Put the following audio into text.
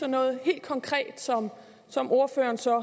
noget helt konkret som som ordføreren så